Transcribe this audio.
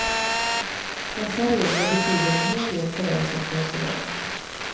Dessa regler betyder en hel del för dig som konsument.